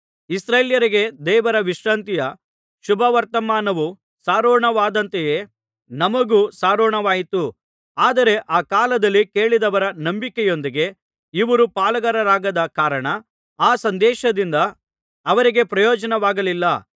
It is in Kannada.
ಇಸ್ರಾಯೇಲ್ಯರಿಗೆ ದೇವರ ವಿಶ್ರಾಂತಿಯ ಶುಭವರ್ತಮಾನವು ಸಾರೋಣವಾದಂತೆಯೇ ನಮಗೂ ಸಾರೋಣವಾಯಿತು ಆದರೆ ಆ ಕಾಲದಲ್ಲಿ ಕೇಳಿದವರ ನಂಬಿಕೆಯೊಂದಿಗೆ ಇವರು ಪಾಲುಗಾರರಾಗದ ಕಾರಣ ಆ ಸಂದೇಶದಿಂದ ಅವರಿಗೆ ಪ್ರಯೋಜನವಾಗಲಿಲ್ಲ